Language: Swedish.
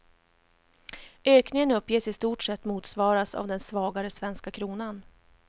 Ökningen uppges i stort sett motsvaras av den svagare svenska kronan.